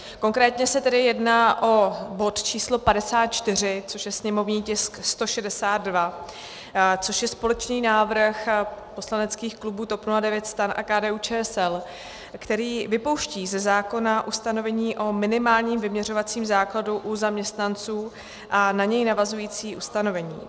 Konkrétně se tedy jedná o bod číslo 54, což je sněmovní tisk 162, což je společný návrh poslaneckých klubů TOP 09, STAN a KDU-ČSL, který vypouští ze zákona ustanovení o minimálním vyměřovacím základu u zaměstnanců a na něj navazující ustanovení.